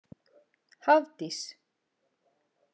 Hafdís